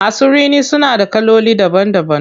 Masu rini suna da kaloli daban daban.